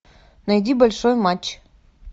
найди большой матч